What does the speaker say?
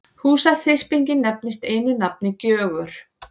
Húsaþyrpingin nefnist einu nafni Gjögur.